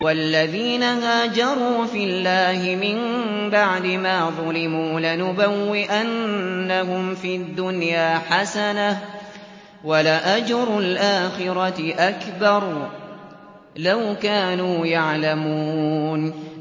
وَالَّذِينَ هَاجَرُوا فِي اللَّهِ مِن بَعْدِ مَا ظُلِمُوا لَنُبَوِّئَنَّهُمْ فِي الدُّنْيَا حَسَنَةً ۖ وَلَأَجْرُ الْآخِرَةِ أَكْبَرُ ۚ لَوْ كَانُوا يَعْلَمُونَ